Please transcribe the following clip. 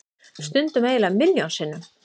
Stundum eiginlega milljón sinnum.